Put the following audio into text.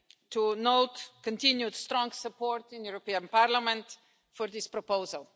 to note continued, strong support in the European Parliament for this proposal.